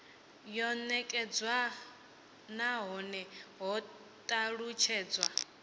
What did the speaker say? yo nekedzwa nahone ho talutshedzwa